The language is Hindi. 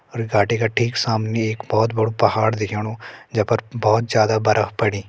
और घाटी का ठिक सामने एक बहोत बडू पहाड़ दिख्येणु जैपर बहोत ज्यादा बरफ पड़ीं।